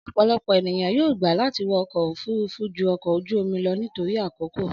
Ọ̀pọ̀lọpọ̀ ènìyàn yóò gbà láti wọ ọkọ̀ òfúrufú ju ọkọ̀ ojú omi lọ nítorí àkókò